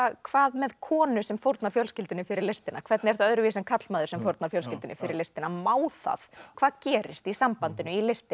hvað með konu sem fórnar fjölskyldunni fyrir listina hvernig er það öðruvísi en karlmaður sem fórnar fjölskyldunni fyrir listina má það hvað gerist í sambandinu í listinni